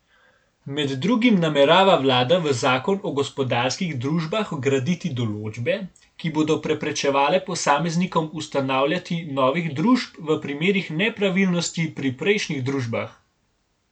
Med drugim namerava vlada v zakon o gospodarskih družbah vgraditi določbe, ki bodo preprečevale posameznikom ustanavljati novih družb v primerih nepravilnosti pri prejšnjih družbah.